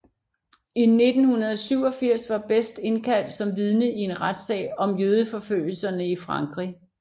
I 1987 var Best indkaldt som vidne i en retssag om jødeforfølgelserne i Frankrig